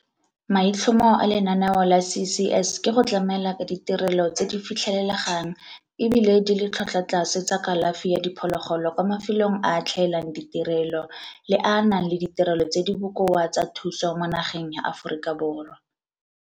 Maitlhomo a lenaneo la CCS ke go tlamela ka ditirelo tse di fitlhelelegang e bile di le tlhotlwatlase tsa kalafi ya diphologolo kwa mafelong a a tlhaelang ditirelo le a a nang le ditirelo tse di bokoa tsa thuso mo nageng ya Aforika Borwa.